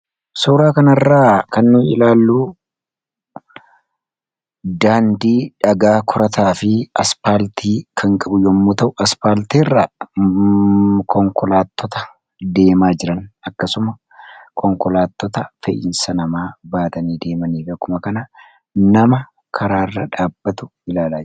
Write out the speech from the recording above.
Suuraa kanarraa kan nu ilaalluu daandii dhagaa korataa fi aspaaltii kan qabu yommuu ta'u aspaaltiiirraa konkolaatota deemaa jiran akkasumma konkolaatota fe'umsaa namaa baatanii deemaniif akkuma kana nama karaa irra dhaabatu ilaalla.